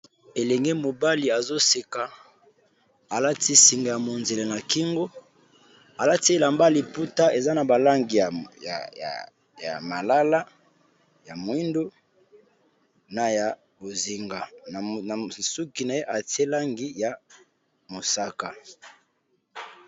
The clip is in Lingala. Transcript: Elenge mobali azoseka alati singa ya monzele na kingo alati elamba liputa eza na ba langi ya malala ya mwindu na ya bozinga nasuki na ye atie langi ya mosaka.